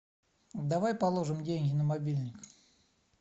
давай положим деньги на мобильник